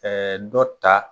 dɔ ta